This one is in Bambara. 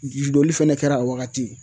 Doli fɛnɛ kɛra a wagati